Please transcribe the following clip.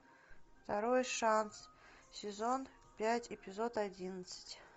второй шанс сезон пять эпизод одиннадцать